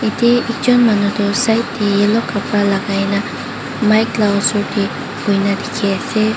yati tuichon manu toh side teh olop kabra lagaina mic la osor teh buhina teki ase.